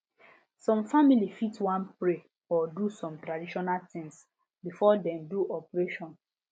some family fit wan pray or do small traditional things before dem do operation